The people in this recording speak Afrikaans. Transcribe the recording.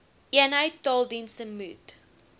eenheid taaldienste moet